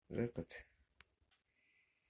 репет